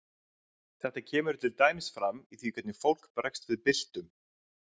þetta kemur til dæmis fram í því hvernig fólk bregst við byltum